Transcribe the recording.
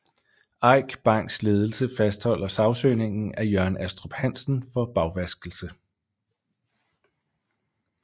Eik Banks ledelse fastholder sagsøgningen af Jørn Astrup Hansen for bagvaskelse